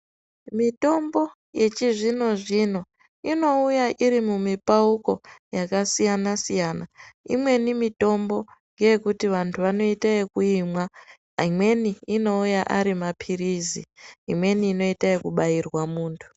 Mitombo yechizvino zvino inouya iri mumipauko yakasiyana siyana imweni mitombo ndeyekuti vantu vanoita yekuyimwa imwenj inouya ari mapiritsi imweni inoita yekubayirwa muntu.